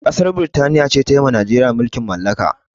Ƙasar birtaniya ce tayiwa najeriya mulkin mallaka